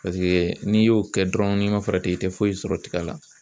Paseke n'i y'o kɛ dɔrɔn n'i man farati i tɛ foyi sɔrɔ tiga la.